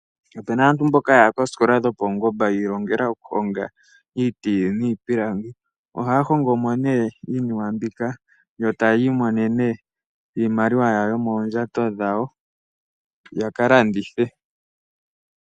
Opu na aantu mboka ya ya koosikola dhopaungomba yi ilongela okuhonga iiti niipilangi. Ohaya hongo nee iinima mbika, e taya landitha yo taya imonene iimaliwa yomoondjato dhawo.